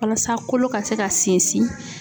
Walasa kolo ka se ka sinsin.